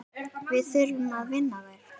Við þurfum að vinna þær.